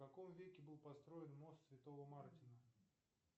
в каком веке был построен мост святого мартина